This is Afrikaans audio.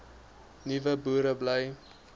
nuwe boere bly